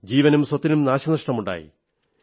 ജീവനും സ്വത്തിനും നാശമുണ്ടായി